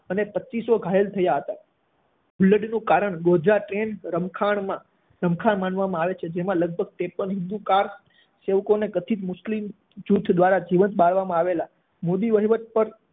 અને પચીસો ઘાયલ થયા હતા હુલ્લડનું કારણ ગોધરા ટ્રેન રમખાણ માનવામાં આવે છે જેમાં લગભગ ત્રેપન હિંદુ કાર સેવકોને કથિત મુસ્લિમ જૂથ દ્વારા જીવંત બાળવામાં આવેલા. મોદી વહીવટ પર